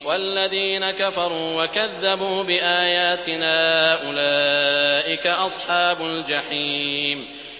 وَالَّذِينَ كَفَرُوا وَكَذَّبُوا بِآيَاتِنَا أُولَٰئِكَ أَصْحَابُ الْجَحِيمِ